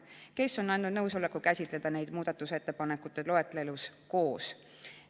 Ettepaneku tegijad on andnud nõusoleku käsitleda neid muudatusettepanekute loetelus koos.